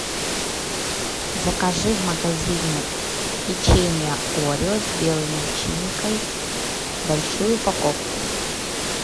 закажи в магазине печенье орео с белой начинкой большую упаковку